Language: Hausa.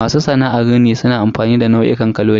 Masu sana'ar rini suna amfani da nau'ikan kaloli.